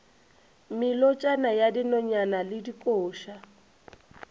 melotšana ya dinonyane le dikoša